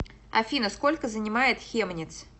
афина сколько занимает хемниц